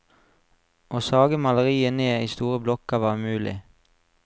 Å sage maleriet ned i store blokker, var umulig.